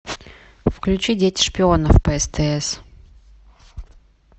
включи дети шпионов по стс